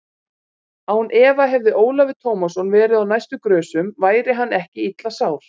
Án efa hefði Ólafur Tómasson verið á næstu grösum væri hann ekki illa sár.